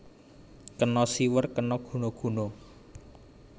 Kena siwer kena guna guna